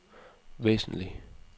væsentlig